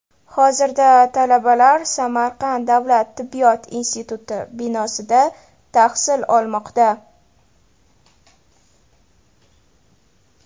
Hozirda talabalar Samarqand davlat tibbiyot instituti binosida tahsil olmoqda.